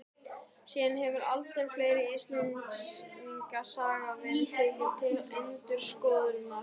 Síðan hefur aldur fleiri Íslendingasagna verið tekinn til endurskoðunar.